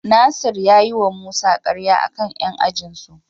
Nasir ya yiwa Musa karya a kan 'yan ajinsu.